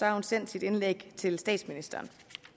har hun sendt sit indlæg til statsministeren